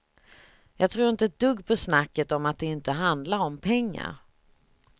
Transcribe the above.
Jag tror inte ett dugg på snacket om att det inte handlar om pengar.